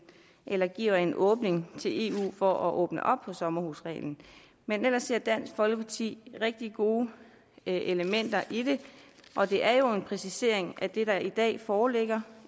eller giver en åbning til eu for at åbne op for sommerhusreglen men ellers ser dansk folkeparti rigtig gode elementer i det og det er jo en præcisering af det der i dag foreligger